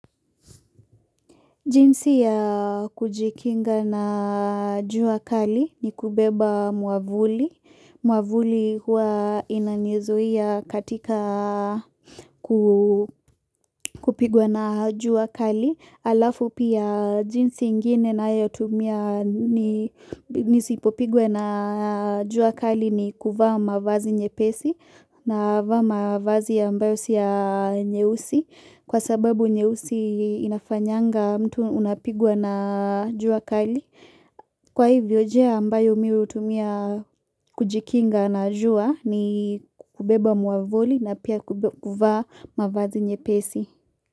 Jinsi ya kujikinga na juu kali ni kubeba muavuli. Muavuli hua inanizuia katika kupigwa na juu akali. Alafu pia jinsi ingine nayo tumia ni nisipopigwa na juu kali ni kuvaa mavazi nyepesi na vaa mavazi ambayo si ya nyeusi. Kwa sababu nyeusi inafanyanga mtu unapigwa na jua kali. Kwa hivyo nji ambayo mi hutumia kujikinga na jua ni kubeba muavuli na pia kuvaa mavazi nye pesi.